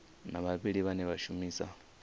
na vhavhali vhane vha shumisa